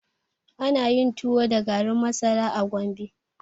Ana yin tuwo da garin masara a Gombe.